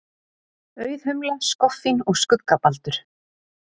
Auðhumla, skoffín og skuggabaldur.